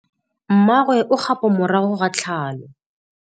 Mmagwe o kgapô morago ga tlhalô.